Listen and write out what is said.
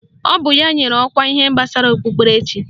Ọ bụ ya ka enyere ọkwa ihe gbasara okpukperechi